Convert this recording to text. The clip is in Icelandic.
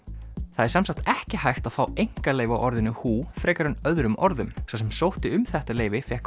það er semsagt ekki hægt að fá einkaleyfi á orðinu frekar en öðrum orðum sá sem sótti um þetta leyfi fékk